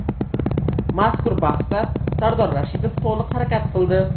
Mazkur bahsda Sardor Rashidov to‘liq harakat qildi.